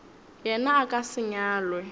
yena a ka se nyalwe